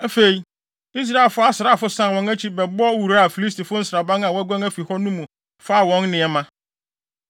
Afei, Israelfo asraafo san wɔn akyi bɛbɔ wuraa Filistifo nsraban a wɔaguan afi hɔ no mu faa wɔn nneɛma.